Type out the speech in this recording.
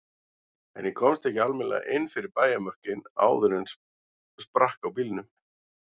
En ég komst ekki almennilega inn fyrir bæjarmörkin áður en sprakk á bílnum.